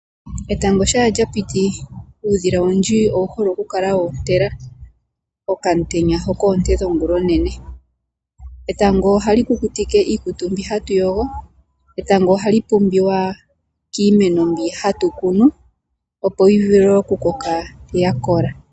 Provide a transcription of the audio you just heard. Etango shampa lyapiti uudhila owundji owuhele okwoontela oonte dhalyo. Etango ohali kukutike iikutu yetu uuna twayoga, ohali pumbiwa woo kiimeno opo yivule oku koka yakola.